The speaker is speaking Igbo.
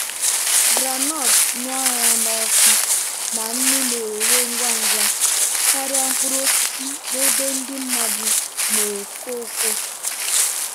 groundnut ṅara n'ọkụ na nnu na-ere ngwa ngwa karịa mkpụrụ osisi n'ebe ndị mmadụ na-ekwo ekwo.